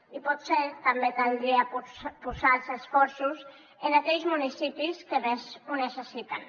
i potser també caldria posar els esforços en aquells municipis que més ho necessiten